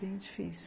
Foi bem difícil.